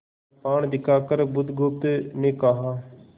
कृपाण दिखाकर बुधगुप्त ने कहा